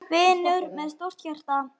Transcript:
Vinur með stórt hjarta.